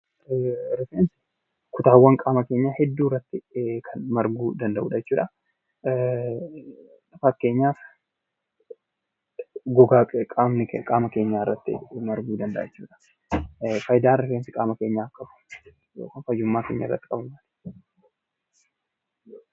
Rifeensi kutaawwan qaama keenya hedduu irratti kan marguu danda'udha jechuudha. Fakkeenyaaf gogaa qaama keenyaa irratti marguu danda'a jechuudha. Faayidaan rifeensi qaama keenyaaf qabu yookiin fayyummaa keenya irratti qabu maali?